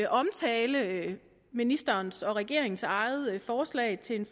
omtale ministerens og regeringens eget forslag til en